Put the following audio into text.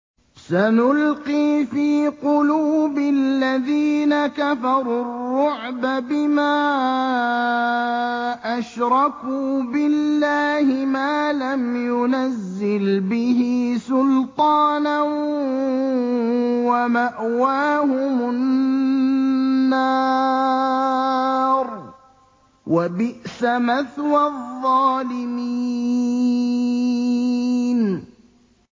سَنُلْقِي فِي قُلُوبِ الَّذِينَ كَفَرُوا الرُّعْبَ بِمَا أَشْرَكُوا بِاللَّهِ مَا لَمْ يُنَزِّلْ بِهِ سُلْطَانًا ۖ وَمَأْوَاهُمُ النَّارُ ۚ وَبِئْسَ مَثْوَى الظَّالِمِينَ